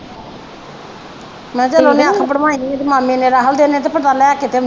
ਮੈ ਕਿਹਾ ਚਲ ਉਹਨੇ ਅੱਖ ਬਣਵਾਈ ਇਹਦੇ ਮਾਮੇ ਨੇ ਰਾਹੁਲ ਦੇ ਨੇ ਤੇ ਪਤਾ ਲੈ ਕੇ ਤੇ ਆਉਣੀ ਆ।